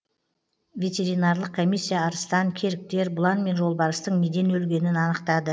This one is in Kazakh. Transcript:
ветеринарлық комиссия арыстан керіктер бұлан мен жолбарыстың неден өлгенін анықтады